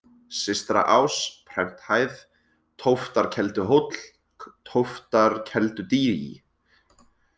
Systraás, Prenthæð, Tóftarkelduhóll, Tóftarkeldudý